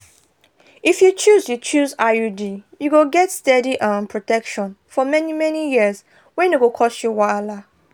if you choose you choose iud you go get steady um protection for many-many years wey no go cause you wahala.